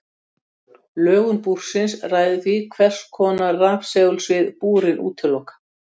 Lögun búrsins ræður því hvers hvers konar rafsegulsvið búrin útiloka.